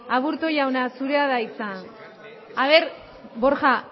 aburtu jauna zurea da hitza borja